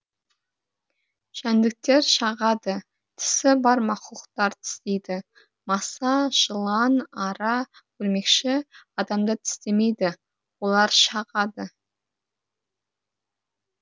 жәндіктер шағады тісі бар мақұлықтар тістейді маса жылан ара өрмекші адамды тістемейді олар шағады